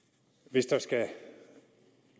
hvis der skal